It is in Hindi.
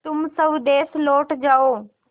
तुम स्वदेश लौट जाओ